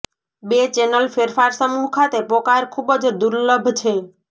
બે ચેનલ ફેરફાર સમૂહ ખાતે પોકાર ખૂબ જ દુર્લભ છે